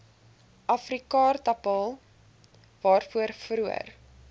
afrikaaartappel waarvoor vroeër